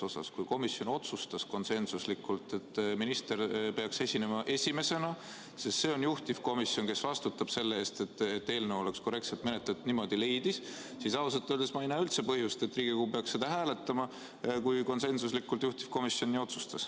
Kui juhtivkomisjon otsustas konsensuslikult, et minister peaks esinema esimesena, ja kuna juhtivkomisjon on see, kes vastutab eelnõu korrektse menetlemise eest, siis ausalt öeldes ei näe ma üldse põhjust, et Riigikogu peaks seda hääletama, kui juhtivkomisjon konsensuslikult nii otsustas.